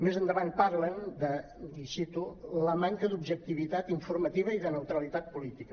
més endavant parlen de i cito la manca d’objectivitat informativa i de neutralitat política